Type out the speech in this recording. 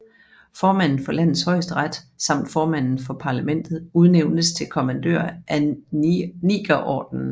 Formanden for landets højesteret samt formanden for parlamentet udnævnes til kommandører af Nigerordenen